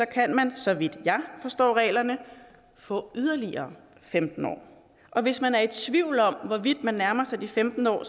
kan man så vidt jeg forstår reglerne få yderligere femten år og hvis man er i tvivl om hvorvidt man nærmer sig de femten år